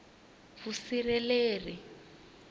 vusirheleri